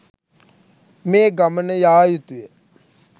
මේ ගමන යායුතුය